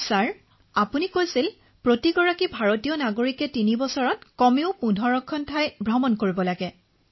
তৰন্নুম খানঃ মহাশয় আপুনি আমাক এইবুলি বাৰ্তা দিছে যে প্ৰতিজন ভাৰতীয় নাগৰিকে ৩ বছৰত ১৫টা স্থান পৰিদৰ্শন কৰিব লাগে